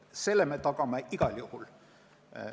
Selle me tagame igal juhul.